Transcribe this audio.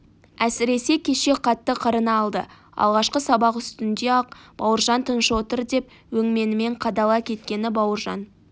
әсіресе кеше қатты қырына алды алғашқы сабақ үстінде-ақ бауыржан тыныш отыр деп өңменінен қадала кеткені бауыржан